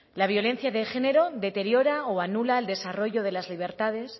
la violencia de género deteriora o anula el desarrollo de las libertades